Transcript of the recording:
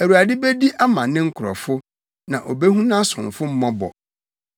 Awurade bedi ama ne nkurɔfo na obehu nʼasomfo mmɔbɔ.